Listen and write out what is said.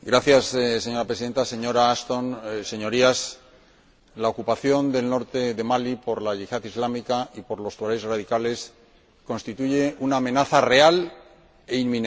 Señora Presidenta, señora Ashton, Señorías, la ocupación del norte de Mali por la Yihad islámica y por los tuareg radicales constituye una amenaza real e inminente.